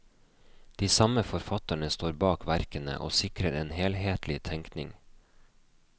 De samme forfatterne står bak verkene og sikrer en helhetlig tenkning.